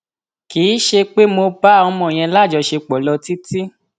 kì í ṣe pé mo ṣe pé mo bá ọmọ yẹn lájọṣepọ lọ títí